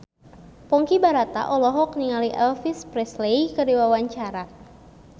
Ponky Brata olohok ningali Elvis Presley keur diwawancara